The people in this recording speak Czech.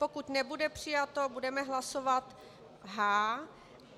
Pokud nebude přijato, budeme hlasovat H.